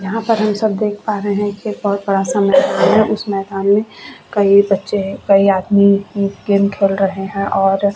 यहाँ पर हम सब देख पा रहे है कि एक बहोत समय आया उस मैदान में कई बच्चे आदमी गेम खेल रहे है और--